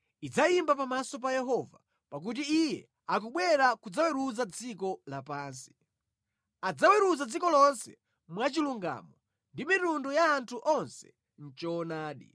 idzayimba pamaso pa Yehova, pakuti Iye akubwera kudzaweruza dziko lapansi; adzaweruza dziko lonse mwachilungamo ndi mitundu ya anthu onse mʼchoonadi.